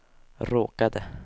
råkade